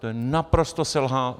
To je naprosté selhání.